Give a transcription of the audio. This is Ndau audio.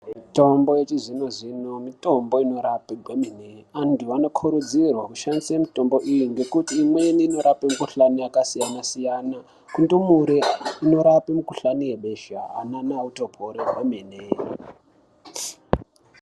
Mitombo yechizvino-zvino mitombo inorape zvemene antu anokurudzirwa kushandisa mitombo iyi ngekuti imweni inorape mikhuhlani yakasiyana-siyana kundumure inorape mukhuhlani webesha anana otopora kwemene.